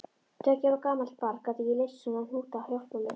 Tveggja ára gamalt barn gat ekki leyst svona hnúta hjálparlaust.